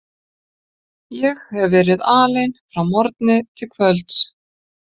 Ég hefi verið alein frá morgni til kvölds.